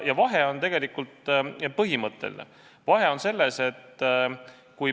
Ja vahe on tegelikult põhimõtteline.